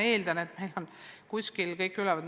Eeldan aga, et meil on kuskil kõik üleval.